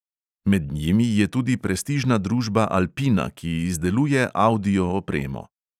Med njimi je tudi prestižna družba alpina, ki izdeluje avdioopremo.